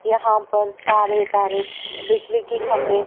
यहां पर तारे-तारे बिजली के खंभे--